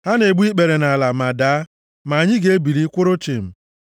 Ha na-egbu ikpere nʼala ma daa, ma anyị ga-ebili, kwụrụ chịm.